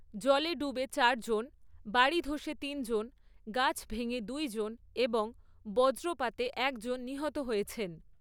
জলে ডুবে চারজন, বাড়ি ধসে তিনজন, গাছ ভেঙে দুইজন এবং বজ্রপাতে একজন নিহত হয়েছেন।